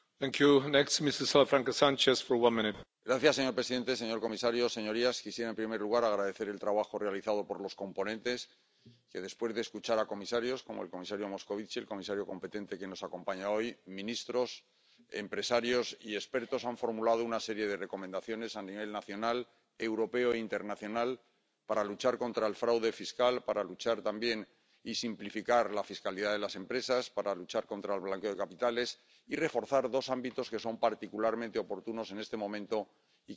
Señor presidente, señor comisario, señorías, quisiera, en primer lugar, agradecer el trabajo realizado por los coponentes, que después de escuchar a comisarios —como el comisario Moskovitz, el comisario competente, que nos acompaña hoy—, ministros, empresarios y expertos, han formulado una serie de recomendaciones a nivel nacional, europeo e internacional para luchar contra el fraude fiscal, para luchar también y simplificar la fiscalidad de las empresas, para luchar contra el blanqueo de capitales y reforzar dos ámbitos que son particularmente oportunos en este momento y que no han sido objeto de la acción de otras comisiones anteriores.